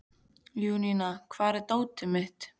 Júníana, hvar er dótið mitt?